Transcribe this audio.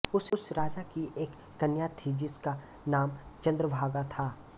उस राजा की एक कन्या थी जिसका नाम चंद्रभागा था